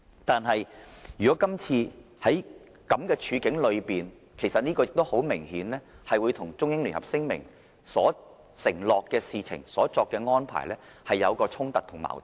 但是，在今次這種處境下，其實很明顯與《中英聯合聲明》所承諾的事情和所作的安排有所衝突和矛盾。